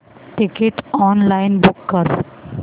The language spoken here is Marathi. टिकीट ऑनलाइन बुक कर